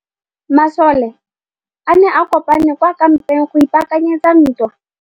Masole a ne a kopane kwa kampeng go ipaakanyetsa ntwa.